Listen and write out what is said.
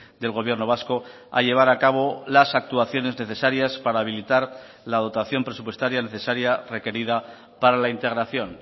del gobierno vasco a llevar a cabo las actuaciones necesarias para habilitar la dotación presupuestaria necesaria requerida para la integración